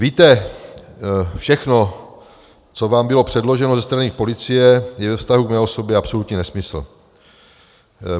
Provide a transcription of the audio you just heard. Víte, všechno, co vám bylo předloženo ze strany policie, je ve vztahu k mé osobě absolutní nesmysl.